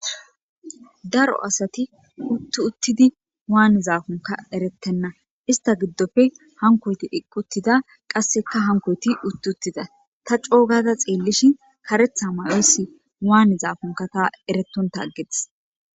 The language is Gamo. Daro asati uttu uttidi waani zaakonka erettenna ista giddofe hankoyti iqquttida qasseka hankoyti utt uttida ta coogada xeellishin karetha mayoyssi waane zaakonka ta eretonta aggetes.